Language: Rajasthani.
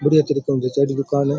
बड़ी अच्छीदुकान जचायोड़ी की दुकान है।